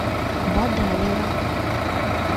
бадаева